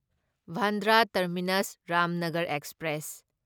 Bandra terminus Ramnagar express